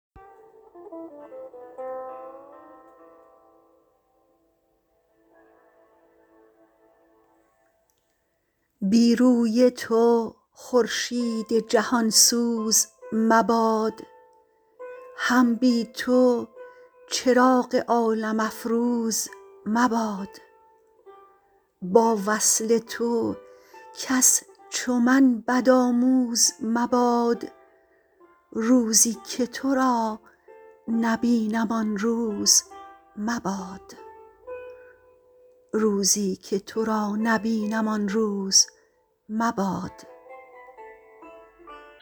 بی روی تو خورشید جهان سوز مباد هم بی تو چراغ عالم افروز مباد با وصل تو کس چو من بد آموز مباد روزی که تو را نبینم آن روز مباد